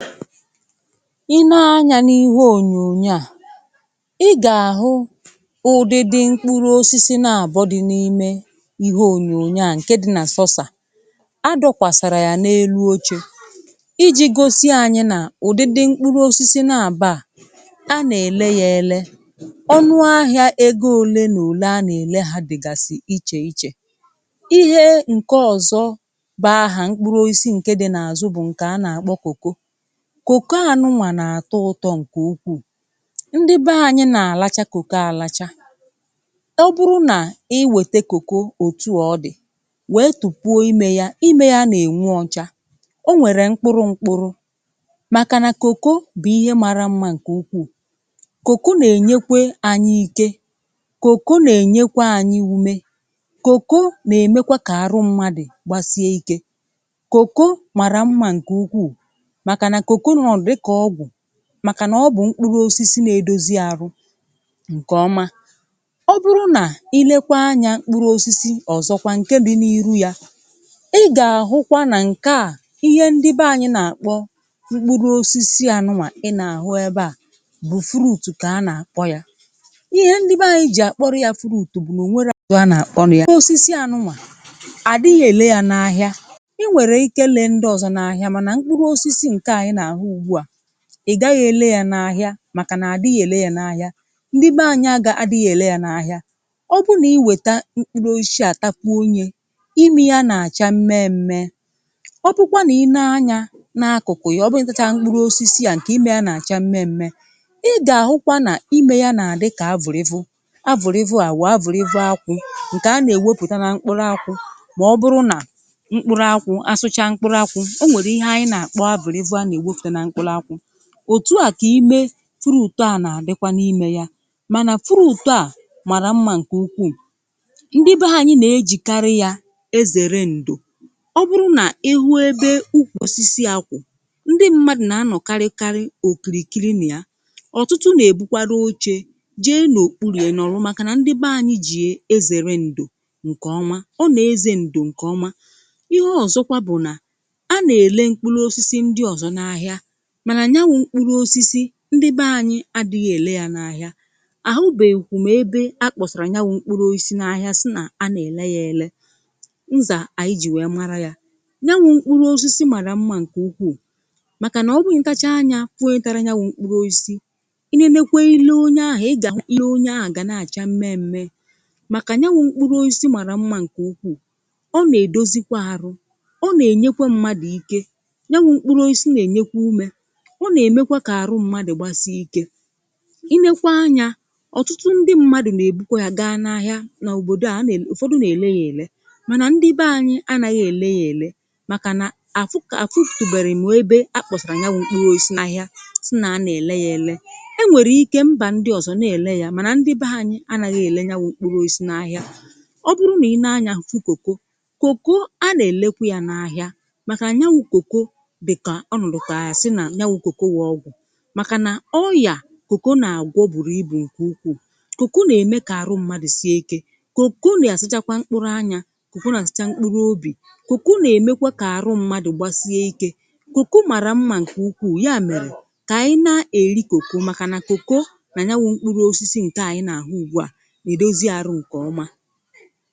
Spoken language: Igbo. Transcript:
Ị nee anyà n’ihe ònyònyoò, à i gà-àhụ ụdịdị mkpụrụ osisi na-àbọ dị̇ n’ime ihe ònyònyo à ǹke dị̇ na sọsà. A dọkwàsàrà yà n’elu oche iji gosi anyị̇ n’ụ̀dịdị mkpụrụ osisi nà-abà a, a nà-èle ya ele, ọnụ ahịa ego ole nà ole a nà-èle ha dị̀gàsị̀ ichè ichè. Ihe ǹke ọ̀zọ bụ hà mkpụrụ osisi ǹke dị̇ n’àzụ bụ̀ ǹkè a na-àkpọ kòkó. Kòkó anụnwà nà-àtọ ụtọ ǹkè ukwuù ndị be anyị nà-àlacha kòkó àlacha. Ọ bụrụ nà iwète kòkó òtù ọ dị̀ wèe tùpuo ime ya ime ya nà-ènwu ọcha o nwèrè mkpụrụ mkpụrụ màkànà kòkó bụ̀ ihe mara mma ǹkè ukwuù. Kòkó nà-ènyekwe anyị ike kòkó nà-ènyekwa anyị ume kòkó nà-èmekwa kà arụ mmadụ̀ gbasie ike. Kòkó mara mma ǹkè ukwuù màkànà nọ dịka ọgwu maka na ọ bụ̀ mkpụrụ osisi na-edozi arụ ǹkèọma. Ọ bụrụ nà ilekwa anya mkpụrụ osisi ọ̀zọkwa ǹke dị n’iru ya ị gà-àhụkwa nà ǹke à ihe ndị be anyị̇ nà-àkpọ mkpụrụ osisi ànụwà ị nà-àhụ ebe à bụ̀ fruùtu kà a nà-àkpọ ya. Ihe ndị be anyị̇ jì àkpọrọ ya fruùtu bụ̀ nà ò nwerọ afa a na-akpo ya. Mkpụrụ osisi ànụwà àdị ya èle yȧ n’ahịa ị nwere ike ịle ndịọzọ n'ahia mana mkpụrụ osisi nke a ị na-ahụ ugbu a, ị̀ gaghị̇ èle ya n’ahịa màkà nà-àdịghị èle ya n’ahịa. Ndị be anyị agà adịghị̇ èle ya n’ahịa. Ọ bụ nà iwète mkpụrụ osisi à tapuo nye ime ya nà-àcha mmee mmee. Ọ bụkwa nà i nee anya n’akụ̀kụ̀ ya ọ bụrụ nà mkpụrụ osisi à ǹkè ime ya nà-àcha mmee mmee ị gà-àhụkwa nà ime ya nà-àdị kà avùrìvụ̀. Avùrìvụ à wụ̀ avùrìvụ̀ ákwụ ǹkè a nà-èwepùta nà mkpụrụ ákwụ mà ọ bụrụ nà mkpụrụ ákwụ àsụcha mkpụrụ ákwụ o nwere ihe anyị na akpọ avùrìvụ ana-ewefute na mkpụrụ ákwụ. Òtu à kà ime fruùtu à nà-àdịkwa n’ime ya mànà fruùtu à màrà mma ǹkè ukwuù. Ndị be ha anyị nà-ejìkarị ya ezère ǹdò. Ọ bụrụ nà ịhụ ebe ukwòsisi a kwụ̀ ndị mmadụ̀ nà-anọ̀ karị karị òkìrìkiri nà ya. Ọtụtụ nà-èbukwara oche jee n’òkpùlù ya nọrụ màkà nà ndị be ànyị ji ya ezère ǹdò ǹkè ọma, ọ nà-eze ǹdò ǹkè ọma. Ihe ọ̀zọkwa bụ̀ nà a nà-èle mkpụrụ osisi ndị ọ̀zọ n’ahịa mana ya wụ mkpụrụ osisi ndị be anyị adị̀ghị̀ èle yà n’àhịa. Àhụbèghikwù m ebe akpọ̀sàrà yawụ̀ mkpụrụ oisi n’ahịa sị nà a nà-èle ya ele, nzà ànyị jì wee mara ya. Yawụ̀ mkpụrụ osisi màrà mma ǹkè ukwuù màkà nà ọ bụ na-itachaa nya hụ onye tara yawụ̀ mkpụrụ osisi, i nenekwe ile onye ahụ̀ ị gà-ahụ ile onye ahụ̀ gà na-àcha mmee mmee, màkà yanwụ̀ mkpụrụ osisi màrà mmȧ ǹkè ukwuù. Ọ nà-èdozi kwa arụ, ọ nà-ènyekwe mmadụ̀ ike yawụ mkpụrụ osisi nà-ènyekwe ume. Ọ na-emekwa kà arụ mmadụ̀ gbasie ike. Ị nekwa anya ọ̀tụtụ ndị mmadụ̀ na-èbukwa ya ga n’ahịa n’òbodò a ànà ele, ụ̀fọdụ na-èle ya èle mànà ndị be anyị̇ anaghị̇ èle ya èle màkà nà àfụ kà afutubeghi m ebe a kpọ̀sị̀rị̀ nya wụ mkpụrụ osisi n’ahịa si na anà-ele ya ele. E nwèrè ike mbà ndị ọ̀zọ na-èle yȧ mànà ndị be anyị̇ anàghị̇ èle yawụ mkpụrụ osisi n’ahịa. Ọ bụrụ nà i nee anya fu kòkó kòkó a na-elekwa ya n’ahịa màkà an yawụ ̇ kòkó dịka ọnọdú ka a ga-asi naọ ọgwụ, màkà nà ọyà kòkó nà-àgwọ bụrụ ibù ǹkè ukwuu. Kòkó nà-ème kà àrụ mmadụ̀ sie ike, kòkó nà-àsachakwa mkpụrụ anya, kòkó nà-asacha mkpụrụ obì, kòkó nà-èmekwa kà àrụ mmadụ̀ gbasie ike. Kòkó màrà mma ǹkè ukwuu, ya mèrè kà ànyị na-èli kòkó màkà nà kòkó nà yawụ mkpụrụ osisi ǹke ànyị nà-àhụ ugbu à nà-èdozi arụ ǹkè ọma.